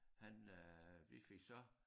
Han øh vi fik så